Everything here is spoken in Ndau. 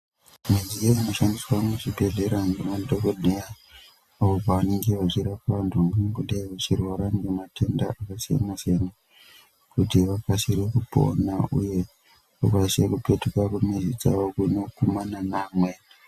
Midziyo inoshandiswa muzvibhedhlera ngemadhogodheya apo pevanenge vechirape vantu vanenge vachirwara ngematenda akasiyana-siyana kuti vakasire kupona uye kuti vakasire kupetuka kumhuri dzavo kunokumana neamweni.